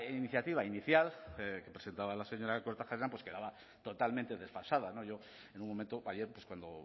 iniciativa inicial que presentaba la señora kortajarena quedaba totalmente desfasada yo en un momento ayer cuando